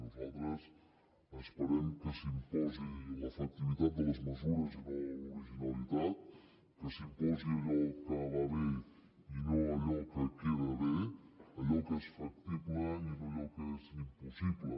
nosaltres esperem que s’imposi l’efectivitat de les mesures i no l’originalitat que s’imposi allò que va bé i no allò que queda bé allò que és factible i no allò que és impossible